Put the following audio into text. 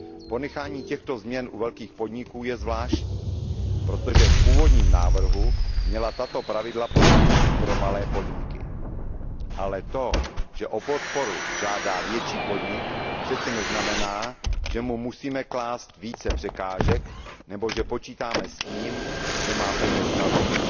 Ponechání těchto změn u velkých podniků je zvláštní protože v původním návrhu měla tato pravidla platit i pro malé podniky, ale to že o podporu žádá větší podnik přece neznamená, že mu musíme klást více překážek, nebo že počítáme s tím, že má peněz nazbyt.